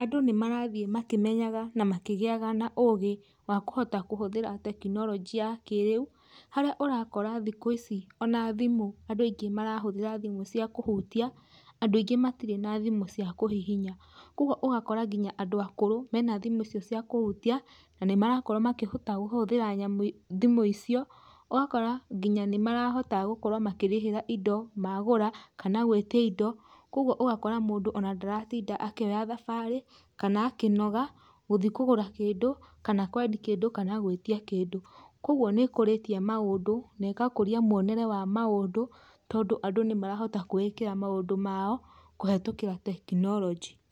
Andũ nĩmarathiĩ makĩmenyaga na makĩgĩaga ũgĩ wa kũhota kũhũthĩra tekinoronjĩ ya kĩrĩu harĩa ũrakora thikũ ici ona thimũ andũ aingi marahũthĩra thimũ cia kũhũtia andũ aingĩ matirĩ thimũ cia kũhihinya kwoguo ũgakora nginya andũ akũrũ mena thimu icio cia kũhutia na nĩmarakorwa makĩhota kũhũthĩra thimũ icio ũgakora nginya nĩmarahota gũkorwa makĩrĩhĩra indo magũra kana gwitia indo kwoguo ũgakora mũndũ nginya ndaratinda akĩoya thabarĩ kana akĩnoga gũthi kũgũra kĩndũ kana kwendia kĩndũ kana gwĩtia kĩndũ kwoguo nĩkũrĩtie maũndũ nĩgakũria monere wa maũndũ tondũ andũ nĩmarahota kwĩĩkĩra maũndu mao kũhĩtũkĩra tekinoronjĩ.